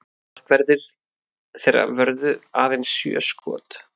Markverðir þeirra vörðu aðeins sjö skot